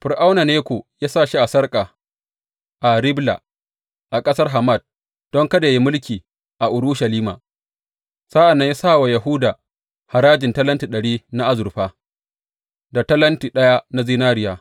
Fir’auna Neko ya sa shi a sarƙa a Ribla a ƙasar Hamat don kada yă yi mulki a Urushalima, sa’an nan ya sa wa Yahuda harajin talenti ɗari na azurfa, da talenti ɗaya na zinariya.